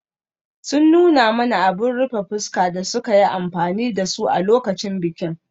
Sun nuna mana abin rufe fuska da suka yi amfani da su a lokacin bikin.